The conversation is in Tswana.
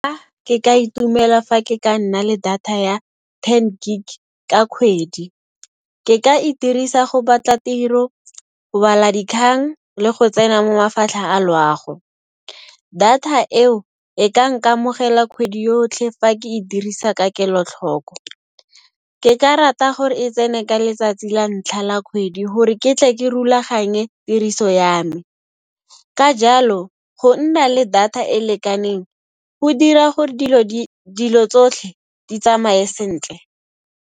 Ke ka itumela fa ke ka nna le data ya ten gig ka kgwedi. Ke ka e dirisa go batla tiro, go bala dikgang le go tsena mo mafatlheng a loago. Data eo e ka nkamogela kgwedi yotlhe fa ke e dirisa ka kelotlhoko. Ke ka rata gore e tsene ka letsatsi la ntlha la kgwedi hore ke tle ke rulaganye tiriso ya me. Ka jalo, go nna le data e e lekaneng go dira gore dilo tsotlhe di tsamaye sentle.